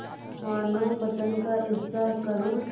मानवपतन का ऐसा करुण